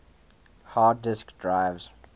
hard disk drives